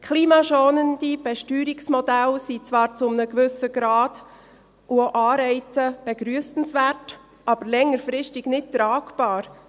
Klimaschonende Besteuerungsmodelle sind zwar zu einem gewissen Grad – und auch Anreize – begrüssenswert, aber längerfristig nicht tragbar.